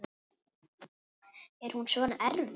Er hún svona erfið?